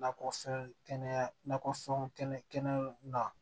Nakɔfɛn kɛnɛya nakɔfɛn kɛnɛw na